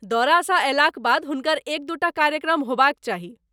दौरासँ अयलाक बाद हुनकर एक दू टा कार्यक्रम होबाक चाही।